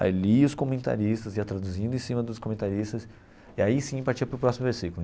Aí lia os comentaristas, ia traduzindo em cima dos comentaristas, e aí sim partia para o próximo versículo.